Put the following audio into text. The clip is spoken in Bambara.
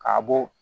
K'a bɔ